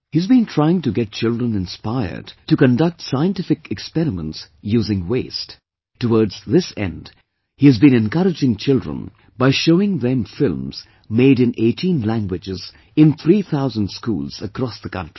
He has been trying to get children inspired to conduct scientific experiments using waste; towards this end he has been encouraging children by showing them films made in 18 languages in three thousand schools across the country